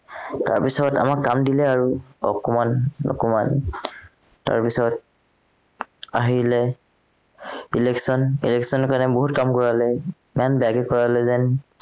তাৰপাছত আমাক কাম দিলে আৰু অকমান অকমান তাৰপিছত আহিলে, election, election ৰ কাৰণে বহুত কাম কৰালে ইমান গালি পৰালে যেন